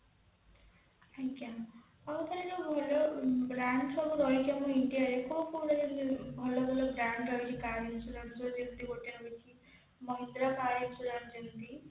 ଆଜ୍ଞା ଯୋଉ ସବୁ ଆମର brand ସବୁ ରହିଛନ୍ତି ସବୁ India ରେ କୋଉ କୋଉ ଜାଗାରେ ଭଲ ଭଲ brand ରହିଛି car insurance ର ଯେମିତି ଗୋଟେ ଅଛି mahindra car insurance ଯେମିତି